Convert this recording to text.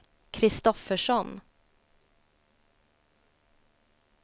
Kristoffersson